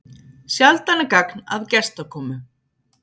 Sjaldan er gagn að gestakomu.